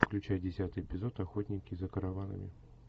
включай десятый эпизод охотники за караванами